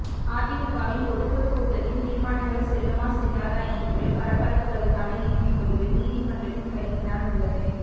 அதிமுகவின் பொதுக்குழு கூட்டத்தின் தீர்மானங்கள் செல்லுமா செல்லாதா என்று பரபரப்புகளுக்கான இறுதி முடிவு நீதிமன்றத்தின் கையில் தான் உள்ளது